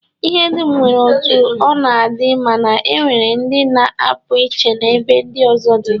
lhe dum nwere otu o na-adi mana e nwere ndi na-apu iche n'ebe ndi ozo di.